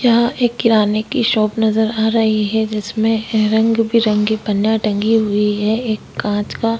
यहाँ एक किराने की शॉप नज़र आ रही है यहाँ पर रंग-बिरंगी पन्ने टंगी हुई है एक कांच का--